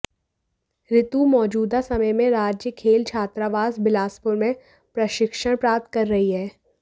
ऋतु मौजूदा समय में राज्य खेल छात्रावास बिलासपुर में प्रशिक्षण प्राप्त कर रही है